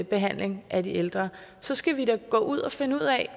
behandling af de ældre så skal vi da gå ud og finde ud af